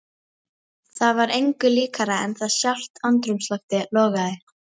Það var engu líkara en að sjálft andrúmsloftið logaði.